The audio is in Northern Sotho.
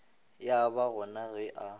ya ba gona ge a